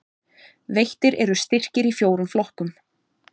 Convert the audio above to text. Veittir eru styrkir í fjórum flokkum